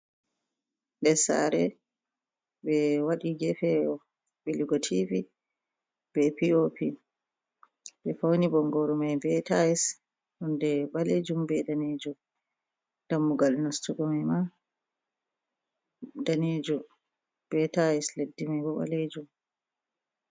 Nder sare ɓe waɗi gefe ɓilugo tv be pop, ɓe fauni bongoru mai be tais, nonde ɓalejum be danejum, dammugal nastugo mai ma ɗanejum be tais, leddi ɓalejum.